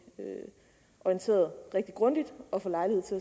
orienteret rigtig grundigt og få